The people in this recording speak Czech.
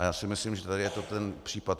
A já si myslím, že tady je to ten případ.